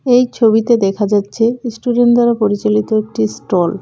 এই ছবিতে দেখা যাচ্ছে ইস্টুডেন্ট দ্বারা পরিচালিত একটি স্টল .